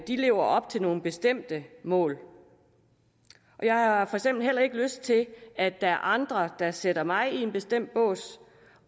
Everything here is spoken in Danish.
de lever op til nogle bestemte mål jeg har heller ikke lyst til at der er andre der sætter mig i en bestemt bås